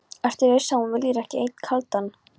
Ertu viss um að þú viljir ekki einn kaldan?